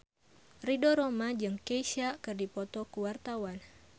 Ridho Roma jeung Kesha keur dipoto ku wartawan